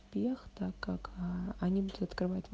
пехта как они будут открыва